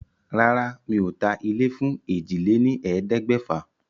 Rárá, mi ò ta ilé fún èjì lé ní ẹ̀ẹ́dẹ́gbẹ̀fà.